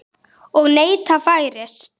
Og neyta færis.